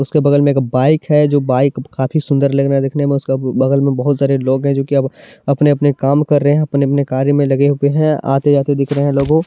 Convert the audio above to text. उसके बगल मे बाइक है जो बाइक काफी सुंदर लग रहा है देखने मे सब बगल मे बहुत सारे लोग है जो की अपना अपना काम कर रहे है अपने अपने कार्य मे लगे हुए है आते जाते दिख रहे हैलोगो --